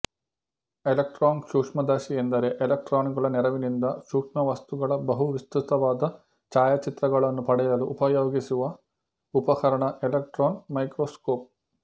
electron ಸೂಕ್ಷ್ಮದರ್ಶಿ ಎಂದರೆ electron ಗಳ ನೆರವಿನಿಂದ ಸೂಕ್ಷ್ಮವಸ್ತುಗಳ ಬಹು ವಿಸ್ತೃತವಾದ ಛಾಯಾಚಿತ್ರಗಳನ್ನು ಪಡೆಯಲು ಉಪಯೋಗಿಸುವ ಉಪಕರಣ ಎಲೆಕ್ಟ್ರಾನ್ ಮೈಕ್ರೊಸ್ಕೋಪ್